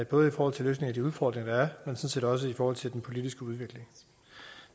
både i forhold til løsning af de udfordringer der er set også i forhold til den politiske udvikling